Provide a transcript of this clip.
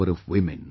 the power of women